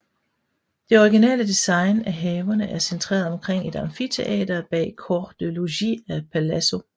Det originale design af haverne er centreret omkring et amfiteater bag corps de logis af palazzo